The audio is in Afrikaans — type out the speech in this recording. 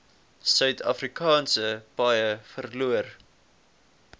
suidafrikaanse paaie verloor